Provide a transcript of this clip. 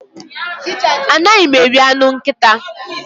Anaghị m eri anụ nkịta.